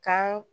Kan